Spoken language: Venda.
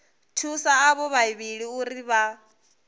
thusa avho vhavhili uri vha